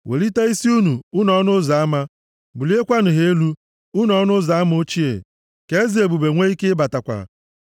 Welitenụ isi unu, unu ọnụ ụzọ ama, buliekwanụ ha elu, unu ọnụ ụzọ ama ochie, ka Eze ebube nwee ike ịbatakwa.